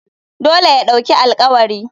Dole ya ɗauki alƙawari.